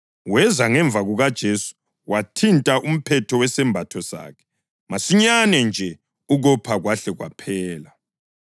Weza ngemva kukaJesu wathinta umphetho wesembatho sakhe, masinyane nje ukopha kwahle kwaphela.